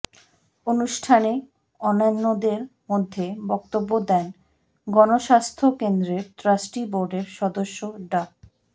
অনুষ্ঠানে অন্যান্যদের মধ্যে বক্তব্য দেন গণস্বাস্থ্য কেন্দ্রের ট্রাস্টি বোর্ডের সদস্য ডা